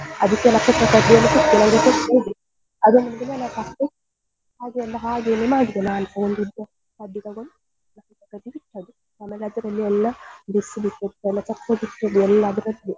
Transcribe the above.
ಹಾಗೆ ಎಲ್ಲಾ ಹಾಗೇನೇ ಮಾಡಿದೆ ನಾನು ಒಂದು ಉದ್ದ ಕಡ್ಡಿ ತಗೊಂಡು ಕಡ್ಡಿ ಬಿಟ್ಟದ್ದು ಆಮೇಲೆ ಅದ್ರಲ್ಲಿ ಎಲ್ಲ ಎಲ್ಲ ಅದರದ್ದೇ.